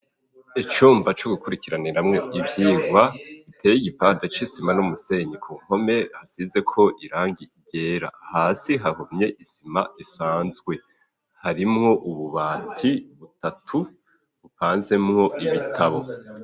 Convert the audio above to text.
Icumba co gukurikiraniramwo ivyirwa iteye igipande c'isima n'umusenyi ku mpome hasize ko irangi ryera hasi habomye isima isanzwe harimwo ububati butatu bupanzemo ibitabo.